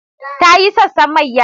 Ta yi sassan mayya.